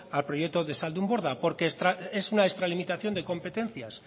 al proyecto de zaldunborda porque es una extralimitación de competencias